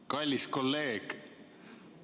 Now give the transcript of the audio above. Kallis kolleeg!